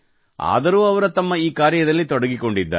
ಆದರೂ ಅವರು ತಮ್ಮ ಈ ಕಾರ್ಯದಲ್ಲಿ ತೊಡಗಿಕೊಂಡಿದ್ದಾರೆ